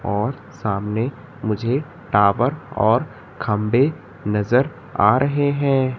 और सामने मुझे टावर और खंबे नजर आ रहे हैं।